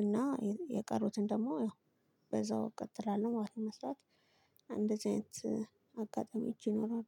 እና የቀሩትን ደግሞ ያው በዛው እቀጥላለሁ ማለት ነው መስራት። እንደዚህ አይነት አጋጣሚዎች ይኖራሉ።